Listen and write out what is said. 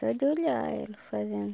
Só de olhar ela fazendo.